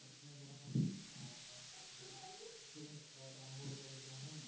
ধৰা